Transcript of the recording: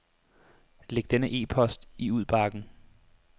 Læg denne e-post i udbakken.